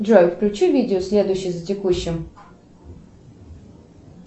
джой включи видео следующее за текущим